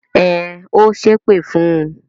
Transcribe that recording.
Ẹn, ó ṣépè fún un.